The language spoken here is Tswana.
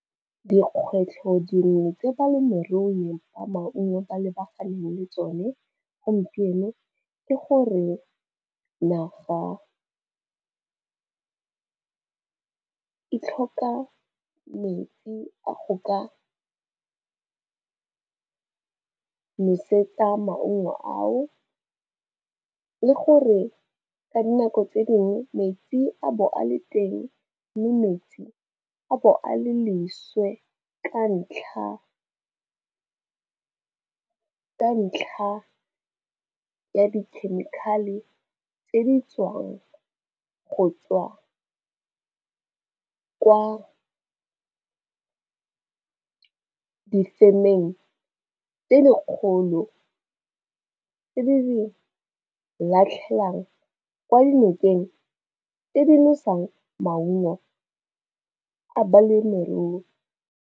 Dikgwetlho dingwe tse balemirui ba maungo ba lebaganeng le tsone gompieno ke gore naga e tlhoka metsi a go ka nosetsa maungo ao le gore ka dinako tse dingwe metsi a bo a le teng mme metsi a bo a le leswe ka ntlha ya di-chemical-e tse di tswang go tswa ko difemeng tse dikgolo tse di latlhelwang kwa dinokeng tse di nosang maungo a balemirui.